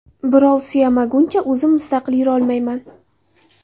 Birov suyamaguncha o‘zim mustaqil yurolmayman.